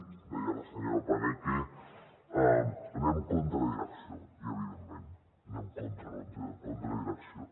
ho deia la senyora paneque anem contra direcció i evidentment anem contra direcció